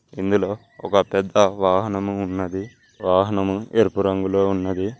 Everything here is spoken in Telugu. ఇందులో ఒక పెద్ద వాహనము ఉన్నది వాహనము ఎరుపు రంగులో ఉన్నది.